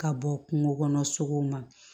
Ka bɔ kungo kɔnɔ sogow ma